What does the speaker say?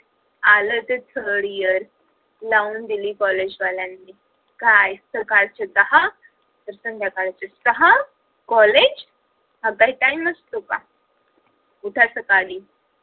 आल ते third year लावून दिली college वाल्यांनी काय सकाळचे दहा ते संध्याकाळचे सहा college हा काय time असतो का उठा सकाळी